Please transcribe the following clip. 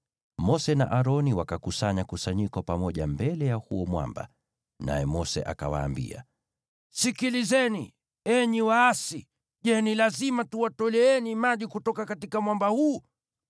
Mose na Aroni wakakusanya kusanyiko pamoja mbele ya huo mwamba, naye Mose akawaambia, “Sikilizeni, enyi waasi. Je, ni lazima tuwatoleeni maji kutoka mwamba huu?”